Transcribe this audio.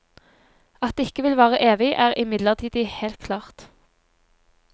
At det ikke vil vare evig er imidlertid helt klart.